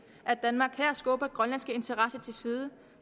at danmark her skubber grønlandske interesser til side